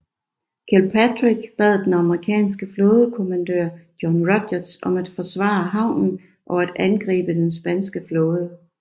Kilpatrick bad den amerikanske flådekommandør John Rodgers om at forsvare havnen og angribe den spanske flåde